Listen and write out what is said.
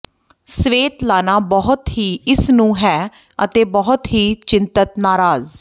Svetlana ਬਹੁਤ ਹੀ ਇਸ ਨੂੰ ਹੈ ਅਤੇ ਬਹੁਤ ਹੀ ਚਿੰਤਤ ਨਾਰਾਜ਼